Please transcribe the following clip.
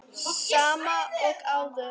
Sama og áður.